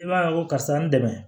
I b'a ye ko karisa n dɛmɛ